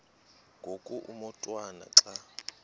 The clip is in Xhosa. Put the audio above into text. ngoku umotwana xa